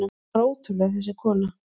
Hún var ótrúleg, þessi kona.